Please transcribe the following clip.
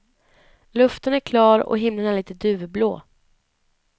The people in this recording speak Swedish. Luften är klar och himlen är lite duvblå.